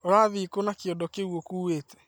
Ũrathi kũna kyondo kĩu ũkuĩte?